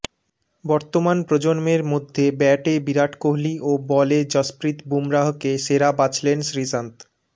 বর্তমান প্রজন্মের মধ্যে ব্যাটে বিরাট কোহলিও বলে জসপ্রীত বুমরাহকে সেরা বাছলেন শ্রীসন্থ